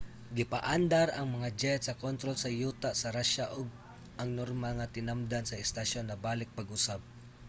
gipaandar ang mga jet sa kontrol sa yuta sa russia ug ang normal nga tinamdan sa istasyon nabalik pag-usab